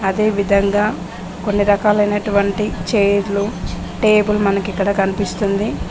ఇదే విధంగా కొన్ని రకాలైనటువంటి చైర్లు టేబుల్ మనకి ఇక్కడ కనిపిస్తుంది.